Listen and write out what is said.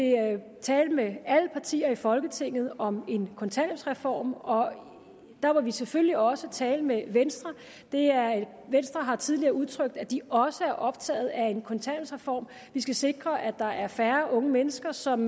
tale med alle partier i folketinget om en kontanthjælpsreform og der vil vi selvfølgelig også tale med venstre venstre har tidligere udtrykt at de også er optaget af en kontanthjælpsreform vi skal sikre at der er færre unge mennesker som